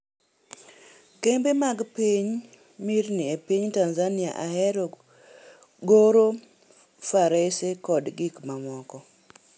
Kembe mag mirni e piny Tanzania Ahero goro farese koda gik mamoko.